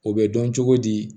O bɛ dɔn cogo di